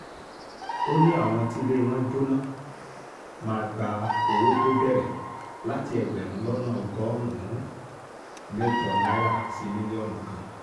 ó ní àwọn tílé wọn jóná máa gba owó tó bẹ̀rẹ̀ láti ẹgbẹ̀rún lọ́nà ọgọ́rùn-ún mẹ́jọ náírà sí mílíọ̀nù kan